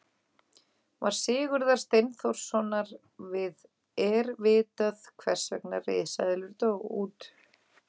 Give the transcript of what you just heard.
Svar Sigurðar Steinþórssonar við Er vitað hvers vegna risaeðlur dóu út?